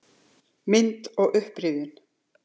Mynd og upprifjun